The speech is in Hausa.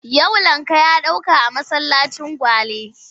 Yau lakca ya ɗauka a masallacin Gwale.